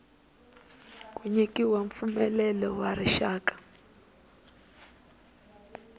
ku nyikiwa mpfumelelo wa rixaka